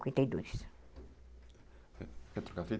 cinquenta e dois. Quer trocar a fita?